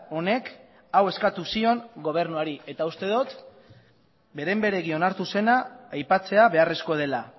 honek hau eskatu zion gobernuari eta uste dut beren beregi onartu zena aipatzea beharrezkoa dela